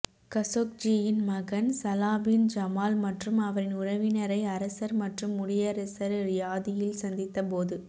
கஷோக்ஜியின் மகன் Salah bin Jamal மற்றும் அவரின் உறவினரை அரசர் மற்றும் முடியரசர் ரியாதில் சந்தித்த போது